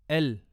L